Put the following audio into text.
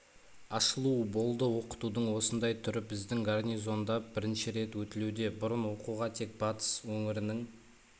ашылуы болды оқытудың осындай түрі біздің гарнизонда бірінші рет өтілуде бұрын оқуға тек батыс өңірінің